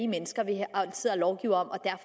mennesker vi sidder og lovgiver om er